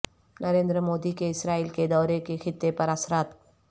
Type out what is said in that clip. نریندر مودی کے اسرائیل کے دورے کے خطے پر اثرات